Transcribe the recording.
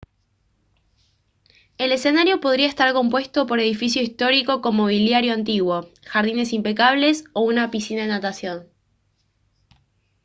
el escenario podría estar compuesto por edificio histórico con mobiliario antiguo jardines impecables o una piscina de natación